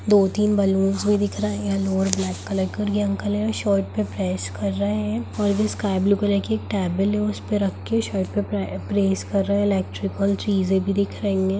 दो-तीन बैलून्स भी दिख रहे हैं यैलो और ब्लैक कलर के और ये अंकल हैं शर्ट पेर प्रेस कर रहे हैं और जो स्काई ब्लू कलर की एक टेबल है उस पर रख हुई शर्ट को पेर प्रेस कर रहे हैं। इलेक्ट्रिकल चीजे भी दिख रही हैं।